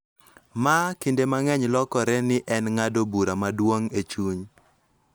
Ma kinde mang�eny lokore ni en ng�ado bura maduong� e chuny